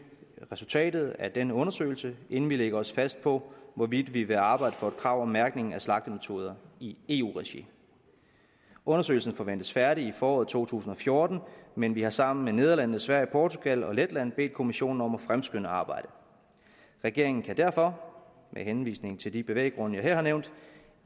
resultatet af den undersøgelse inden vi lægger os fast på hvorvidt vi vil arbejde for et krav om mærkning om slagtemetoder i eu regi undersøgelsen forventes færdig i foråret to tusind og fjorten men vi har sammen med nederlandene sverige portugal og letland bedt kommissionen om at fremskynde arbejdet regeringen kan derfor med henvisning til de bevæggrunde jeg her har nævnt